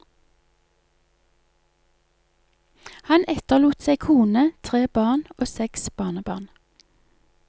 Han etterlot seg kone, tre barn og seks barnebarn.